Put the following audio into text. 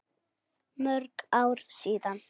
Mörg ár síðan.